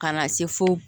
Ka na se fo